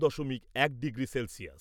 দশমিক এক degree Celsius.